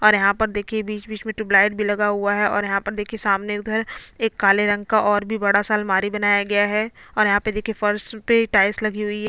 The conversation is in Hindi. और ऊपर देखिए बहोत सारी लाइट जल रही है और अ ग ब पीछे दिवाल है वो सफेद रंग से की गई है।